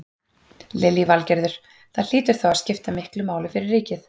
Lillý Valgerður: Það hlýtur þá að skipta miklu máli fyrir ríkið?